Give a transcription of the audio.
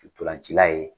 Ntolancila ye